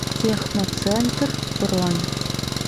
техноцентр бронь